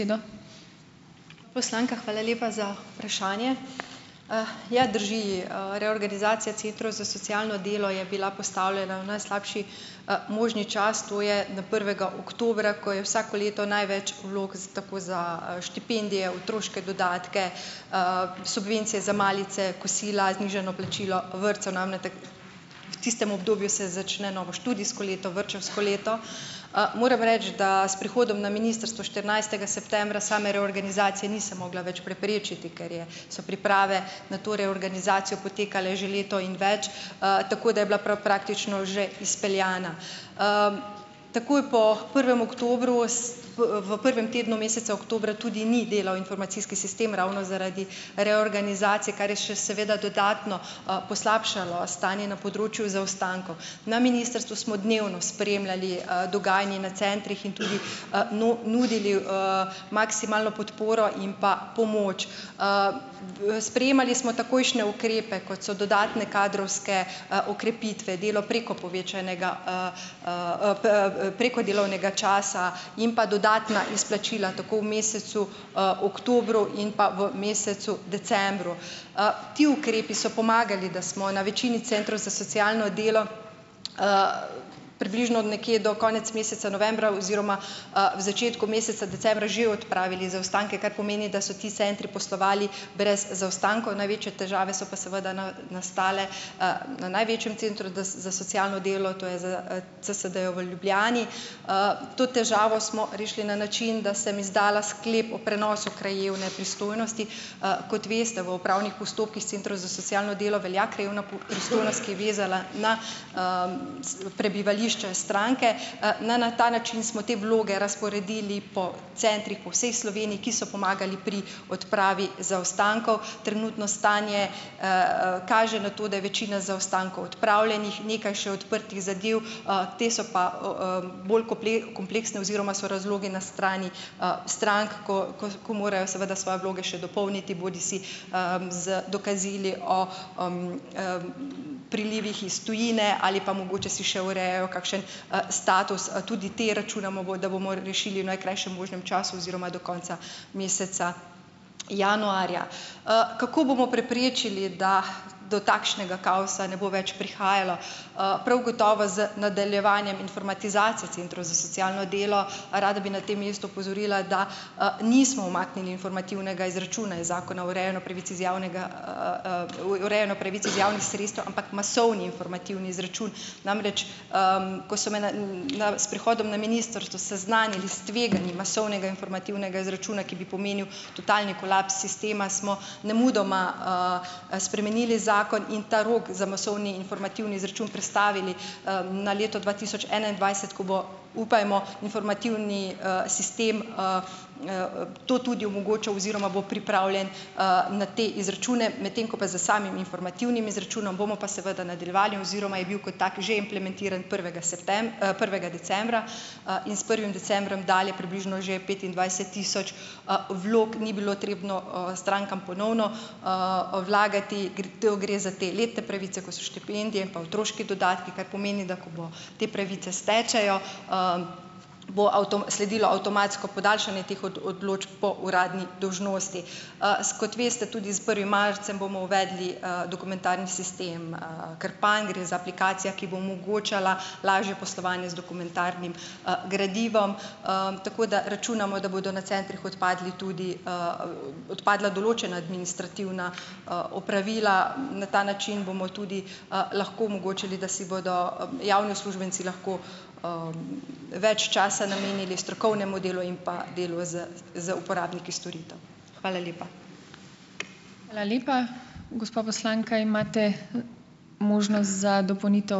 Poslanka, hvala lepa za vprašanje. Ja, drži, reorganizacija centrov za socialno delo je bila postavljena v najslabši, možni čas, to je na prvega oktobra, ko je vsako leto največ vlog za tako za, štipendije, otroške dodatke, subvencije za malice, kosila, znižano plačilo vrtcev namretek. V tistem obdobju se začne novo študijsko leto, vrtčevsko leto. Moram reči, da s prihodom na ministrstvo štirinajstega septembra same reorganizacije nisem mogla več preprečiti, ker je so priprave na to reorganizacijo potekale že leto in več, tako da je bila prav praktično že izpeljana. Takoj po prvem oktobru s, v prvem tednu meseca oktobra tudi ni delal informacijski sistem ravno zaradi reorganizacije, kar je še seveda dodatno, poslabšalo stanje na področju zaostankov. Na ministrstvu smo dnevno spremljali, dogajanje na centrih in tudi, nudili, maksimalno podporo in pa pomoč. Sprejemali smo takojšnje ukrepe, kot so dodatne kadrovske, okrepitve, delo preko povečanega, preko delovnega časa in pa dodatna izplačila, tako v mesecu, oktobru in pa v mesecu decembru. Ti ukrepi so pomagali, da smo na večini centrov za socialno delo, približno nekje do konec meseca novembra oziroma, v začetku meseca decembra že odpravili zaostanke, kar pomeni, da so ti centri poslovali brez zaostankov. Največje težave so pa seveda nastale, na največjem centru za socialno delo, to je z, CSD-ju v Ljubljani. To težavo smo rešili na način, da sem izdala sklep o prenosu krajevne pristojnosti. Kot veste v upravnih postopkih s centrov za socialno delo velja krajevna pristojnost, ki je vezala na, s prebivališče stranke. na ta način smo te vloge razporedili po centrih po vsej Sloveniji, ki so pomagali pri odpravi zaostankov. Trenutno stanje, kaže na to, da je večina zaostankov odpravljenih. Nekaj še odprtih zadev. Te so pa o, bolj kompleksne oziroma so razlogi na strani, strank, ko ko ko morajo seveda svoje vloge še dopolniti, bodisi, z dokazili o, prilivih iz tujine ali pa mogoče si še urejajo kakšen, status. Tudi te računamo, da bomo rešili v najkrajšem možnem času oziroma do konca meseca januarja. Kako bomo preprečili, da do takšnega kaosa ne bo več prihajalo? prav gotovo z nadaljevanjem informatizacije centrov za socialno delo. Rada bi na tem mestu opozorila, da, nismo umaknili informativnega izračuna iz Zakona o urejanju pravic iz javnega, v urejanju pravic iz javnih sredstev, ampak masovni informativni izračun. Namreč, ko so me na, na s prihodom na ministrstvo seznanili s tveganjem masovnega informativnega izračuna, ki bi pomenil totalni kolaps sistema, smo nemudoma, spremenili zakon in ta rok za masovni informativni izračun prestavili, na leto dva tisoč enaindvajset, ko bo, upajmo, informativni, sistem, to tudi omogočal oziroma bo pripravljen, na te izračune, medtem ko pa s samim informativnim izračunom bomo pa seveda nadaljevali oziroma je bil kot tak že implementiran prvega prvega decembra, in s prvim decembrom dalje približno že petindvajset tisoč, vlog ni bilo potrebno, strankam ponovno, vlagati. to gre za te letne pravice, kot so štipendije in pa otroški dodatki, kar pomeni, da ko bo te pravice stečejo, bo sledilo avtomatsko podaljšanje teh od odločb po uradni dolžnosti. S kot veste, tudi s prvim marcem bomo uvedli, dokumentarni sistem, Krpan. Gre za aplikacijo, ki bo omogočala lažje poslovanje z dokumentarnim, gradivom, tako da računamo, da bodo na centrih odpadli tudi, odpadla določena administrativna, opravila. Na ta način bomo tudi, lahko omogočali, da si bodo javni uslužbenci lahko, več časa namenili strokovnemu delu in pa delu z z uporabniki storitev. Hvala lepa.